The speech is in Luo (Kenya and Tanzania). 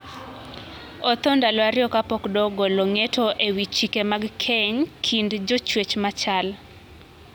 Othoo ndalo ariyo kapok doho ogolo ng`eto ewi chike mag keny kind jochwech machal.